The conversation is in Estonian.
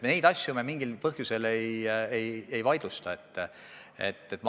Me neid asju mingil põhjusel ei vaidlusta.